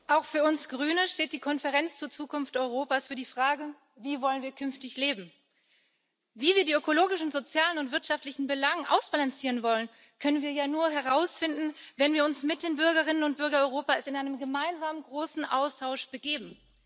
Frau Präsidentin! Auch für uns Grüne steht die Konferenz zur Zukunft Europas für die Frage Wie wollen wir künftig leben? Wie wir die ökologischen, sozialen und wirtschaftlichen Belange ausbalancieren wollen, können wir ja nur herausfinden, wenn wir uns mit den Bürgerinnen und Bürgern Europas in einen gemeinsamen großen Austausch begeben.